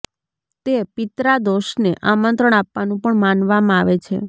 તે પિત્રા દોષને આમંત્રણ આપવાનું પણ માનવામાં આવે છે